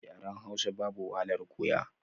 Yaren hausa babu wahalar koya